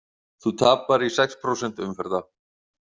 Þú tapar í sex prósent umferða.